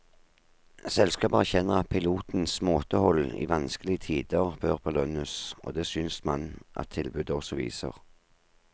Selskapet erkjenner at pilotenes måtehold i vanskelige tider bør belønnes, og det synes man at tilbudet også viser.